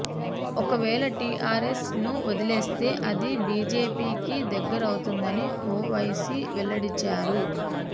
ఒక వేళ టిఆర్ఎస్ ను వదిలేస్తే అది బిజెపి కి దగ్గరవుతుందని ఓవైసీ వెల్లడించారు